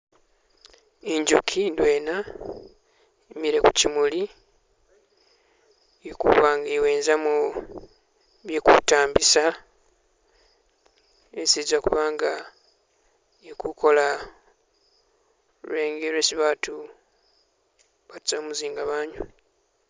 Inzuki indwena yimile kuchimuli ili kuba nga iwenzamo bwe kutambisa hesi iza kuba nga ilikukola lwenge lwesi baatu baata mumuzinga banywa